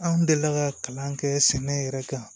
Anw delila ka kalan kɛ sɛnɛ yɛrɛ kan